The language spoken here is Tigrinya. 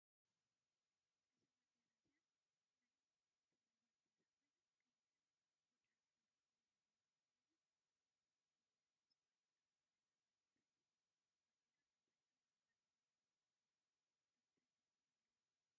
እዛ ባንዴራ እዚኣ ናይ ተግራይ ባንዴራ ኮይና ቀይሕን ብጫን ሕብሪ ዘለዋ ኮይና ብዙሕ መስዋእቲ ዝተከፈለላ ባንዴራ እያ። ባንዴራ ትግራይ ኣብ ማእከል ዘሎ ኮኮብ እንታይ ተረጉም ኣለዎ?